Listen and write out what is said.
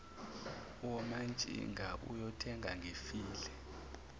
womantshinga uyongena ngifile